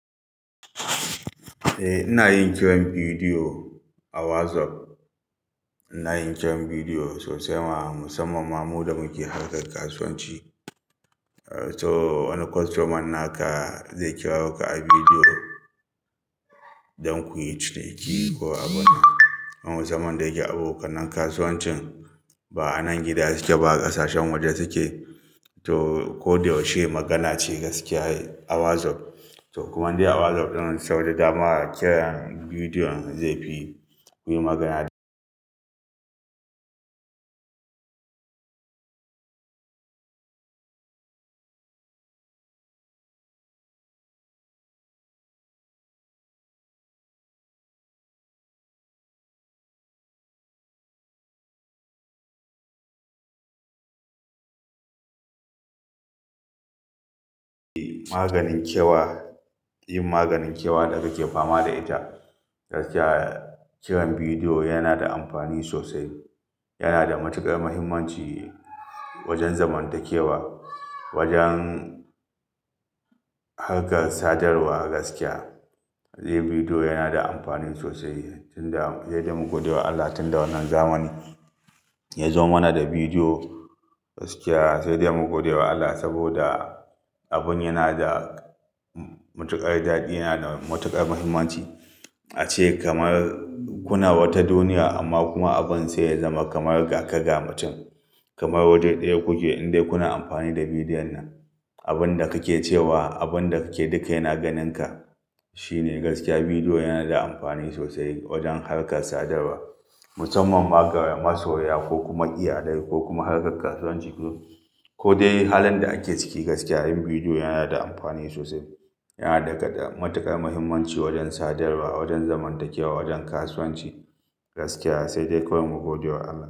Eh, ina yin kiran bidiyo a WhatsApp. Ina yin kiran bidiyo sosai ma musamman ma muddin muke harkar kasuwanci. To wani kostoman naka zai kira ka a bidiyo don kuyi cike ko abuna. Musamman da yake abokan nan kasuwancin ba a nan gida suke ba, ƙasashen waje suke. To ko da wacce magana ce gaskiya a WhatsApp. To kuma dai a WhatsApp ɗin sauda dama kiran bidiyon zai fi ku yi magana. Maganin kyewa, yin maganin kyewa da ake fama da ita. Gaskiya kiran bidiyo yana da amfani sosai. Yana da matuƙar muhimmanci wajen zamantakewa, wajen harkar sadarwa gaskiya. Sai bidiyo yana da amfani sosai. Tun da, sai dai mu gode wa Allah tun da wannan zamani ya zo mana da bidiyo gaskiya sai dai mu gode wa Allah saboda abin yana da matuƙar daɗi, yana da matuƙar muhimmanci. Ace kamar kuna wata duniya amma kuma abin sai ya zama kamar ga ka ga mutum. Kamar waje ɗaya kuke in dai kuna amfani da bidiyon nan. Abin da kake cewa, abin da kake duka yana ganinka. Shine gaskiya bidiyo yana da amfani sosai wajen harkar sadarwa. Musamman ma ga masoya ko kuma iyalai ko kuma harkar kasuwanci. Ko dai halan da ake ciki gaskiya yin bidiyo yana da amfani sosai. Yana da matuƙar muhimmanci wajen sadarwa, wajen zamantakewa, wajen kasuwanci gaskiya sai dai kawai mu gode wa Allah.